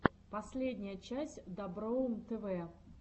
последняя часть доброум тв